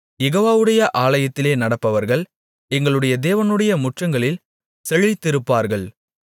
யெகோவாவுடைய ஆலயத்திலே நடப்பட்டவர்கள் எங்களுடைய தேவனுடைய முற்றங்களில் செழித்திருப்பார்கள்